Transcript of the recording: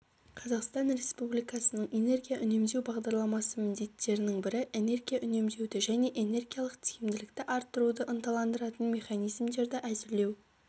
қазақстан республикасының энергия үнемдеу бағдарламасы міндеттерінің бірі энергия үнемдеуді және энергиялық тиімділікті арттыруды ынталандыратын механизмдерді әзірлеу